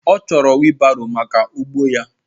Ọ chọrọ wiilbaro maka ugbo ya